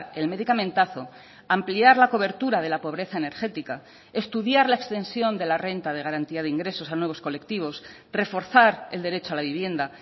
el medicamentazo ampliar la cobertura de la pobreza energética estudiar la extensión de la renta de garantía de ingresos a nuevos colectivos reforzar el derecho a la vivienda